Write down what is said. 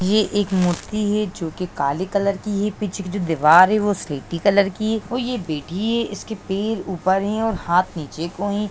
ये एक मूर्ति है जो कि काले कलर की है पीछे की जो दीवार है वो सिलेटी कलर की है और ये बैठी है इसके पैर ऊपर है और हाथ निचे को है।